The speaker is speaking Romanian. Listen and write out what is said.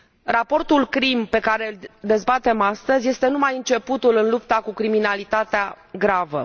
Raportul CRIM pe care îl dezbatem astăzi este numai începutul în lupta cu criminalitatea gravă.